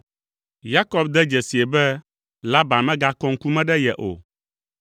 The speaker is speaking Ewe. Yakob de dzesii be Laban megakɔa ŋkume ɖe ye o.